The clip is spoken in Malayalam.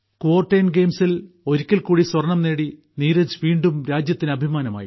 കുവോർടേൻ ഗെയിംസിൽ ഒരിക്കൽകൂടി സ്വർണം നേടി നീരജ് വീണ്ടും രാജ്യത്തിന് അഭിമാനമായി